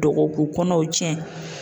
Dɔgɔ k'u kɔnɔw tiɲɛ.